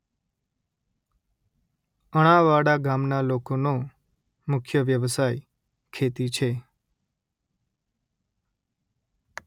અણાવાડા ગામના લોકોનો મુખ્ય વ્યવસાય ખેતી છે